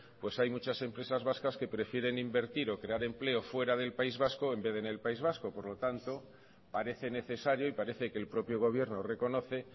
pues hay muchas empresas vascas que prefieren invertir o crear empleo fuera del país vasco en vez de en el país vasco por lo tanto parece necesario y parece que el propio gobierno reconoce